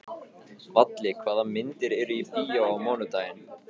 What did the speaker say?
Valli, hvaða myndir eru í bíó á mánudaginn?